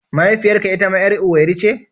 Mahaifiyarka itama 'yar Owerri ce?